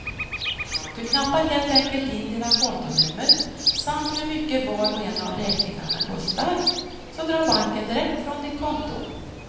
Du knappar helt enkelt in dina kontonummer samt hur mycket var och en av räkningarna kostar, så drar banken direkt från ditt konto.